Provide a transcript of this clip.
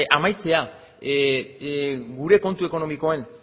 amaitzea gure kontu ekonomikoen